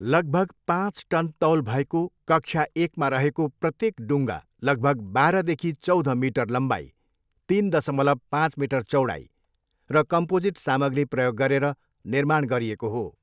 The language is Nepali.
लगभग पाँच टन तौल भएको, कक्षा एकमा रहेको प्रत्येक डुङ्गा लगभग बाह्रदेखि चौध मिटर लम्बाइ, तिन दसमलव पाँच मिटर चौडाइ र कम्पोजिट सामग्री प्रयोग गरेर निर्माण गरिएको हो।